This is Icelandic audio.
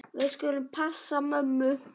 Við skulum passa mömmu.